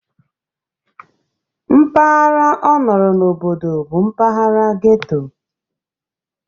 Mpaghara ọ nọrọ n'obodo bụ mpaghara ghetto